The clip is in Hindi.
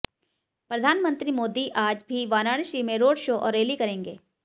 प्रधानमंत्री मोदी आज भी वाराणसी में रोड शो और रैली करेंगे